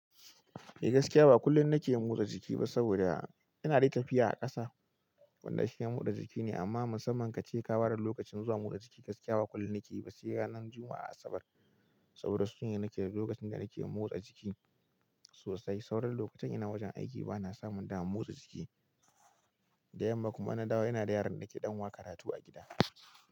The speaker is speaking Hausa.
Eh gaskiya ba kullum na ke motsa jiki ba saboda ina dai tafiya a ƙasa, wanda shi ya murza jiki ne. Amma musamman kace ka ware lokacin zuwa motsa jiki gaskiya ba kullum na ke ba sai ranar Juma'a da Asabar saboda su sune lokacin da na ke motsa jiki sosai. Sauran lokutan ina wajen aiki ba na samun damar motsa jiki, da yamma kuma inna dawo ina da yaron da ke ɗan wa karatu a gida.